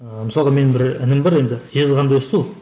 ыыы мысалға менің бір інім бар енді жезқазғанда өсті ол